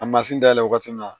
A mansin dayɛlɛ waati min na